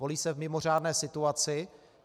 Volí se v mimořádné situaci.